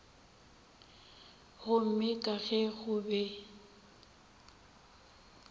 gomme ka ge go be